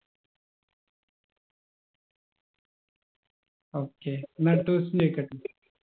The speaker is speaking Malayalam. okay എന്നാ അടുത്ത question ചോയിക്കട്ടെ